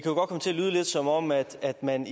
er en